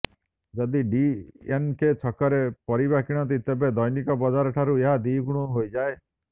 ଯଦି ଡିଏନକେ ଛକରେ ପରିବା କିଣନ୍ତି ତେବେ ଦୈନିକ ବଜାର ଠାରୁ ଏହା ଦ୍ବିଗୁଣ ହୋଇଯାଏ